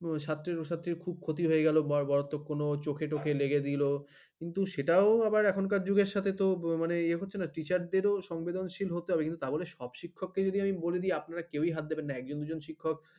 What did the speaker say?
স্বাস্থ্যেরও স্বাস্থ্যের সাথে খুব ক্ষতি হয়ে গেল বা চোখে টপে লেগে দিল কিন্তু সেটাও আবার এখনকার যুগের সাথে তো ইয়ে হচ্ছে না teacher দের সংবেদনশীল হতে হবে তা বলে সব শিক্ষককে যদি বলেদি আপনারা কেউই হাত দেবে না একজন দুজন শিক্ষক